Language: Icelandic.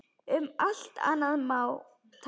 Um allt annað má tala.